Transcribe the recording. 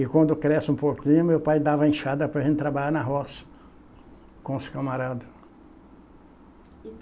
E quando cresce um pouquinho, meu pai dava enxada para a gente trabalhar na roça com os camaradas.